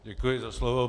Děkuji za slovo.